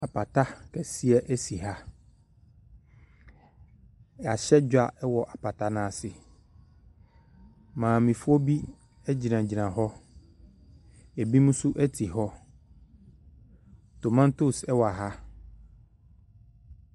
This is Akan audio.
Apata kɛseɛ si ha. Yɛahyɛ dwa wɔ apata no ase. Maamefoɔ bi gyinagyina hɔ, ebinom nso te hɔ. Tomatoes wɔ ha.